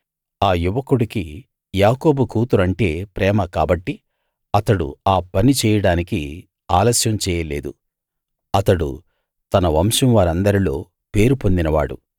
ఆ యువకుడికి యాకోబు కూతురు అంటే ప్రేమ కాబట్టి అతడు ఆ పని చేయడానికి ఆలస్యం చేయలేదు అతడు తన వంశం వారందరిలో పేరు పొందినవాడు